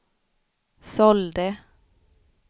sålde